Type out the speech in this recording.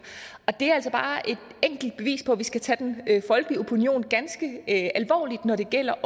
og det er altså bare et enkelt bevis på at vi også skal tage den folkelige opinion ganske alvorligt når det gælder